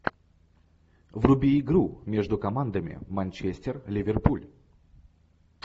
вруби игру между командами манчестер ливерпуль